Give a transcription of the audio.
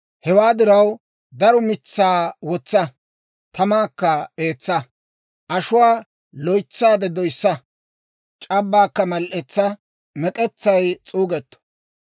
Hewaa diraw, daro mitsaa wotsa; tamaakka eetsa. Ashuwaa loytsaade doyissa; c'abbaakka mal"etsa; mek'etsay s'uugetto.